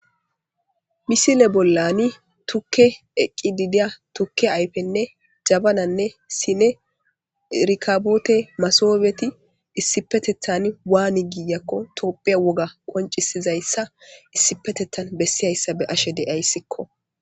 Misile bollani tukke eqqi didiya tukke ayfenne jabananne sine erikaboote masobieti issipetethan waani giiyakko topphe woga qoncisizayssa issipetethan bessiyayssa be ashe deyayssikko.